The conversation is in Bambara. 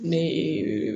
Ne ye